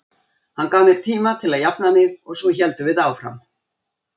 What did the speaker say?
Hann gaf mér tíma til að jafna mig og svo héldum við áfram.